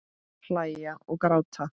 Hlæja og gráta.